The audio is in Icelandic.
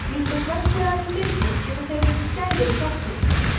líkt og flestir aðrir birnir geta þeir verið skæðir í sorphaugum